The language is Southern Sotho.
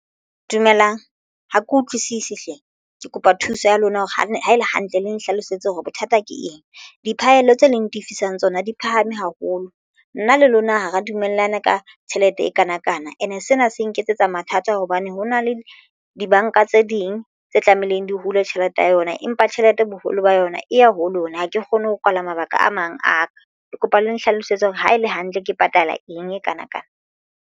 Dumelang ha ke utlwisisi hle ke kopa thuso ya lona, hore le ha e le hantle le nhlalosetse hore bothata ke eng diphahello tse leng tifisong tsona di phahame haholo nna le lona hara dumellana ka tjhelete e kanakana ene. Sena se nketsetsa mathata hobane ho na le dibanka tse ding tse tlamehileng di hule tjhelete ya yona empa tjhelete boholo ba yona e ya ho lona. Ha ke kgone ho kwala mabaka a mang a ka ke kopa le nhlalosetse hore ha ele hantle ke patala eng e kana kana.